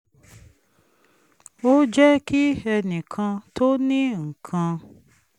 ó jẹ́ kí ẹnì kan tó ní nǹkan